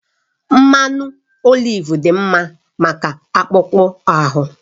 Mmanụ oliv dị mma maka akpụkpọ ahụ